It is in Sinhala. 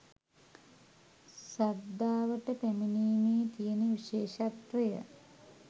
ශ්‍රද්ධාවට පැමිණීමේ තියෙන විශේෂත්වය.